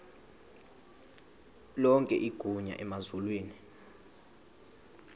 lonke igunya emazulwini